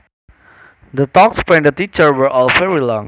The talks by the teacher were all very long